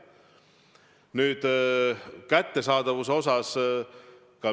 Nüüd kättesaadavusest.